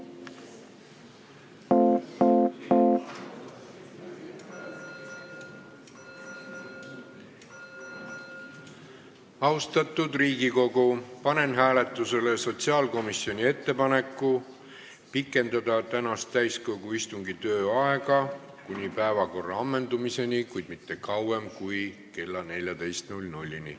Austatud Riigikogu, panen hääletusele sotsiaalkomisjoni ettepaneku pikendada täiskogu tänase istungi tööaega kuni päevakorra ammendumiseni, kuid mitte kauem kui kella 14-ni.